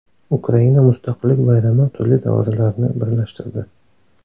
Ukraina mustaqillik bayrami turli davrlarni birlashtirdi.